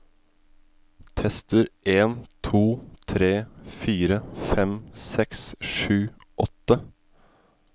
Tester en to tre fire fem seks sju åtte